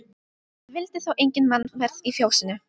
Það vildi þá enga mannaferð í fjósinu.